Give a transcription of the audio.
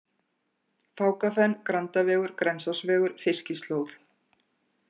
Fákafen, Grandavegur, Grensásvegur, Fiskislóð